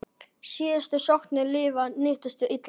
Síðustu sóknir liðanna nýttust illa.